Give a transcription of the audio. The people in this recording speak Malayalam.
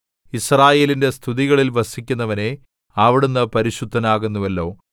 യിസ്രായേലിന്റെ സ്തുതികളിൽ വസിക്കുന്നവനേ അവിടുന്ന് പരിശുദ്ധനാകുന്നുവല്ലോ